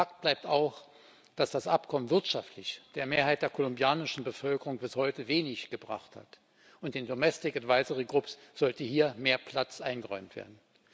Fakt bleibt auch, dass das Abkommen wirtschaftlich der Mehrheit der kolumbianischen Bevölkerung bis heute wenig gebracht hat, und den domestic advisory groups sollte hier mehr Platz eingeräumt werden.